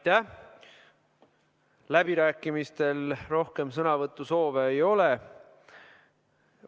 Aitäh, läbirääkimistel rohkem sõnavõtusoove ei ole.